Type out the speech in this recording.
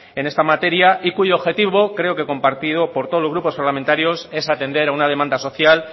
en esta materia y cuyo objetivo creo que compartido por todos los grupos parlamentarios es atender a una demanda social